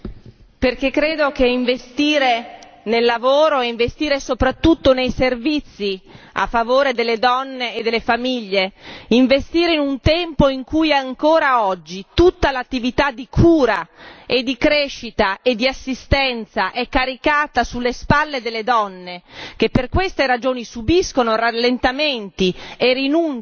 Perché credo che investire nel lavoro e investire soprattutto nei servizi a favore delle donne e delle famiglie, investire in un tempo in cui ancora oggi tutta l'attività di cura, di crescita e di assistenza è caricata sulle spalle delle donne, che per queste ragioni subiscono rallentamenti e rinunce